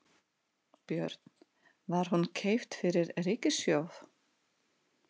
Björn: Var hún keypt fyrir ríkissjóð?